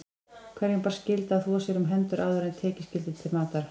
Hverjum bar skylda að þvo sér um hendur áður en tekið skyldi til matar.